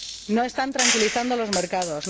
No están tranquilizando a los mercados